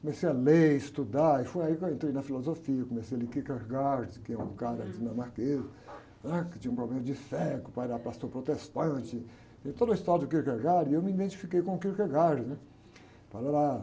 comecei a ler, estudar, e foi aí que eu entrei na filosofia, comecei a ler Kierkegaard, que é um cara dinamarquês, né? Que tinha um problema de fé, que o pai era pastor protestante, e toda a história do Kierkegaard, e eu me identifiquei com o Kierkegaard, né? Parárá.